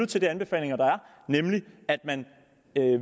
til de anbefalinger der er nemlig at man